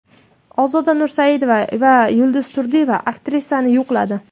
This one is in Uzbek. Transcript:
Ozoda Nursaidova va Yulduz Turdiyeva aktrisani yo‘qladi .